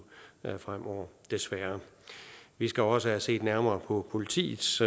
fremover desværre vi skal også have set nærmere på politiets